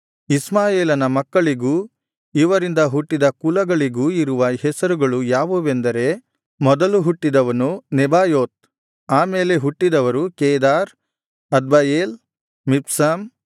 ಇಷ್ಮಾಯೇಲನ ಮಕ್ಕಳಿಗೂ ಇವರಿಂದ ಹುಟ್ಟಿದ ಕುಲಗಳಿಗೂ ಇರುವ ಹೆಸರುಗಳು ಯಾವುದೆಂದರೆ ಮೊದಲು ಹುಟ್ಟಿದವನು ನೆಬಾಯೋತ್ ಆ ಮೇಲೆ ಹುಟ್ಟಿದವರು ಕೇದಾರ್ ಅದ್ಬಯೇಲ್ ಮಿಬ್ಸಾಮ್